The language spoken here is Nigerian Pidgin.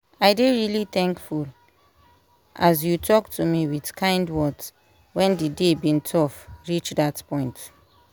i dey really thankful as you talk to me with kind words when dey day bin tough reach that point.